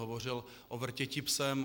Hovořil o Vrtěti psem.